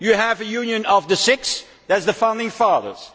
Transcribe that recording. You have a Union of the six, that is the founding fathers.